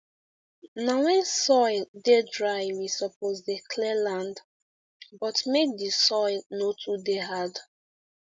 na when soil dey dry we suppose dey clear land but make the soil no too dey hard